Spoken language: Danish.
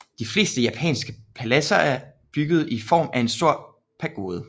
De fleste japanske paladser er bygget i form af en stor pagode